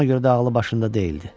Buna görə də ağlı başında deyildi.